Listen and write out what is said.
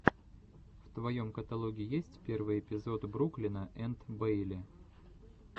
в твоем каталоге есть первый эпизод бруклина энд бэйли